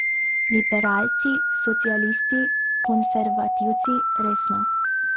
Liberalci, socialisti, konservativci, resno.